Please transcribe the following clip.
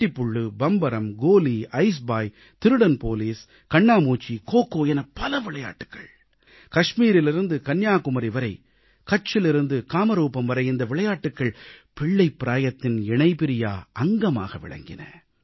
கிட்டிப் புள் பம்பரம் கோலி ஐஸ்பாய் திருடன் போலீஸ் கண்ணாமூச்சி கோகோ என பல விளையாட்டுகள் காஷ்மீரிலிருந்து கன்னியாகுமரி வரை கட்ச்சிலிருந்து காமரூபம் வரை இந்த விளையாட்டுகள் சிறுவயதின் இணைபிரியா அங்கமாக விளங்கின